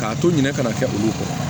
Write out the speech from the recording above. K'a to ɲinɛ kana kɛ olu kɔ